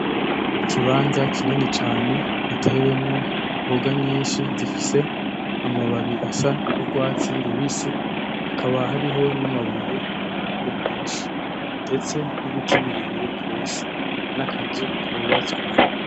Ikibanza kinini cane gitewemwo imboga nyinshi zifise amababi asa nurwatsi rubisi hakaba hariho namabuye iruhande menshi ndetse nibiti birebire gose , nakazu kubatswe.